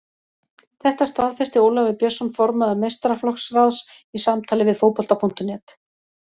Þetta staðfesti Ólafur Björnsson formaður meistaraflokksráðs í samtali við Fótbolta.net.